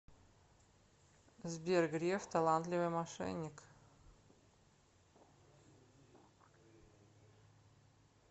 сбер греф талантливый мошенник